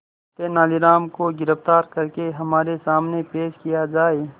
तेनालीराम को गिरफ्तार करके हमारे सामने पेश किया जाए